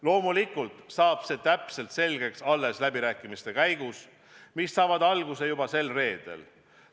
Loomulikult selgub see täpselt alles läbirääkimiste käigus, mis saavad alguse juba sel reedel.